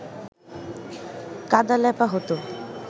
কাদা লেপা হতো